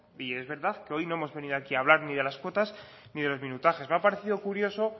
y es verdad que hoy no hemos venido aquí a hablar ni de las cuotas ni de los minutajes me ha parecido curioso